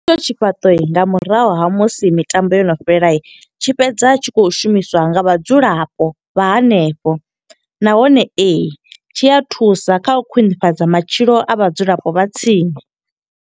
Tshifhaṱo nga murahu ha musi mitambo yo no fhela. Tshi fhedza tshi khou shumiswa nga vhadzulapo vha hanefho. Nahone, ee, tshi a thusa kha u khwiṋifhadza matshilo a vhadzulapo vha tsini.